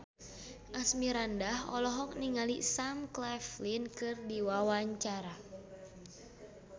Asmirandah olohok ningali Sam Claflin keur diwawancara